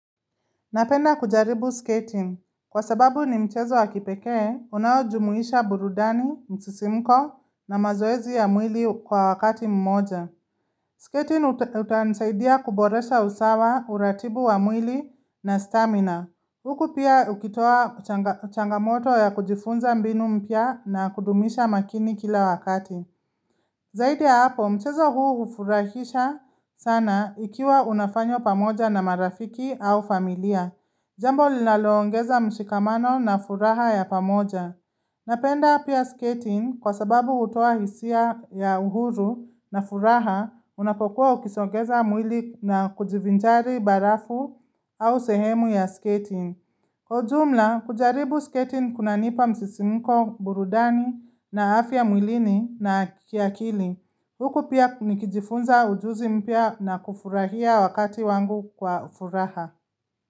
Napenda kujaribu skating. Kwa sababu ni mchezo wa kipekee, unaojumuisha burudani, msisimko na mazoezi ya mwili kwa wakati mmoja. Skating utanisaidia kuboresha usawa, uratibu wa mwili na stamina. Huku pia ukitoa changamoto ya kujifunza mbinu mpya na kudumisha makini kila wakati. Zaidi ya hapo, mchezo huu hufurahisha sana ikiwa unafanywa pamoja na marafiki au familia. Jambo linaloongeza mshikamano na furaha ya pamoja. Napenda pia skating kwa sababu hutoa hisia ya uhuru na furaha unapokuwa ukisongeza mwili na kujivinjari barafu au sehemu ya skating. Kwa ujumla, kujaribu skating kunanipa msisimiko burudani na afya mwilini na kiakili. Huku pia nikijifunza ujuzi mpya na kufurahia wakati wangu kwa ufuraha.